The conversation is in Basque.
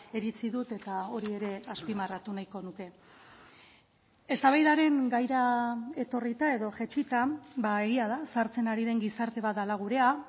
iritzi dut eta hori ere azpimarratu nahiko nuke eztabaidaren gaira etorrita edo jaitsita egia da zahartzen ari den gizarte bat dela gurea